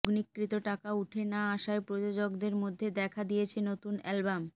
লগ্নিকৃত টাকা উঠে না আসায় প্রযোজকদের মধ্যে দেখা দিয়েছে নতুন অ্যালবাম